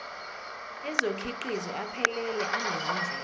ezokhiqizo aphelele anezindlela